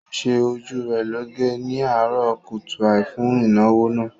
Ó ṣe ojú rẹ̀ lọ́ge ni àárọ̀ kùtùàì fún ìnáwó náà